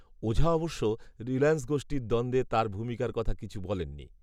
ওঝা অবশ্য, রিলায়েন্স গোষ্ঠীর দ্বন্দ্বে তাঁর ভূমিকার কথা কিছু বলেননি